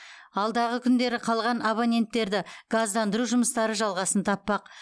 алдағы күндері қалған абоненттерді газдандыру жұмыстары жалғасын таппақ